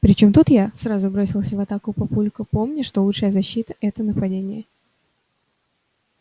при чем тут я сразу бросился в атаку папулька помня что лучшая защита это нападение